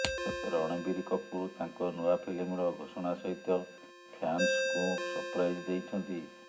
ରଣବୀର କପୁର ତାଙ୍କ ନୂଆ ଫିଲ୍ମର ଘୋଷଣା ସହିତ ଫ୍ୟାନ୍ସଙ୍କୁ ସପ୍ରାଇଜ୍ ଦେଇଛନ୍ତି